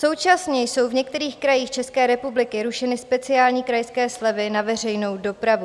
Současně jsou v některých krajích České republiky rušeny speciální krajské slevy na veřejnou dopravu.